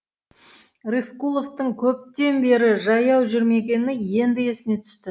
рысқұловтың көптен бері жаяу жүрмегені енді есіне түсті